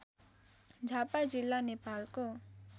झापा जिल्ला नेपालको